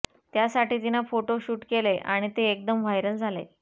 त्यासाठी तिनं photo shoot केलंय आणि ते एकदम व्हायरल झालंय